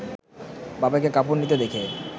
বাবাকে কাপড় নিতে দেখে